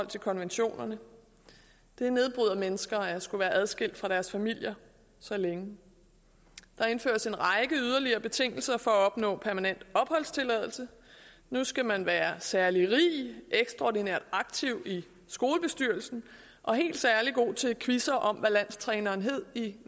til konventionerne det nedbryder mennesker at skulle være adskilt fra deres familier så længe der indføres en række yderligere betingelser for at opnå permanent opholdstilladelse nu skal man være særlig rig ekstraordinært aktiv i skolestyrelsen og helt særlig god til quizzer om hvad landstræneren hed i